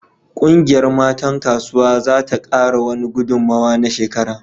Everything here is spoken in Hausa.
Kungiyar matan kasuwa za ta kara wani gudummuwa na shekara